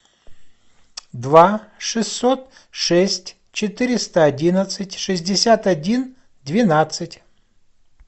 два шестьсот шесть четыреста одиннадцать шестьдесят один двенадцать